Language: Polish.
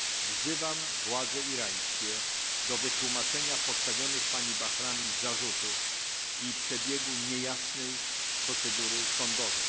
Wzywam władze irańskie do wyjaśnienia postawionych pani Bahrami zarzutów i przebiegu niejasnej procedury sądowej.